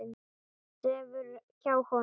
Sefur hjá honum.